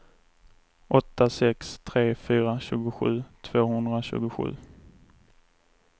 åtta sex tre fyra tjugosju tvåhundratjugosju